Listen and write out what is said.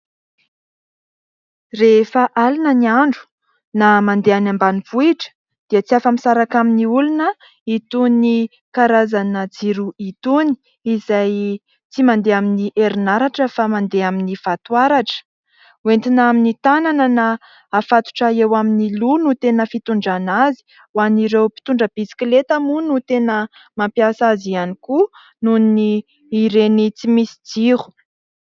Rehefa alina ny andro na mandeha any ambanivohitra dia tsy afa-misaraka amin'ny olona itony karazana jiro itony, izay tsy mandeha amin'ny herinaratra fa mandeha amin'ny vatoaratra. Entina amin'ny tanana na afatotra eo amin'ny loha no tena fitondrana azy. Ho an'ireo mpitondra bisikileta moa no tena mampiasa azy ihany koa, noho ny ireny tsy misy jiro.